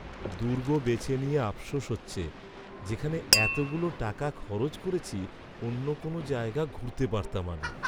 দুর্গ বেছে নিয়ে আফসোস হচ্ছে, যেখানে এতগুলো টাকা খরচ করেছি অন্য কোনো জায়গা ঘুরতে পারতাম আমি!